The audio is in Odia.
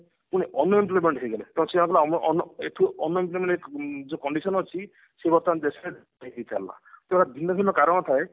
unemployment ହେଇଗଲେ ଯୋଉ condition ଅଛି ସେ ବର୍ତମାନ ଦେଶରେ ଭିନ୍ନ ଭିନ୍ନ କାରଣ ଥାଏ